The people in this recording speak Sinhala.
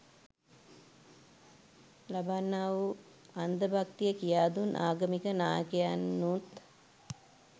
ලබන්නාවූ අන්ද භක්තිය කියාදුන් ආගමික නායකයනුත්